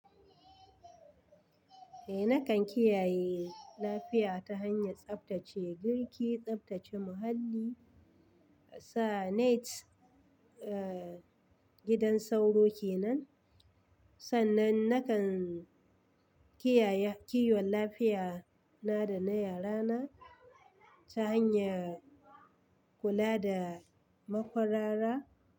Eh, nakan kiyaye lafiya ta hanyar tsaftace girki, tsaftace muhalli, sa net a gidan sauro ke nan. Sannan nakan kiyaye kiwon lafiya na da na yarana ta hanyar kula da makwarara.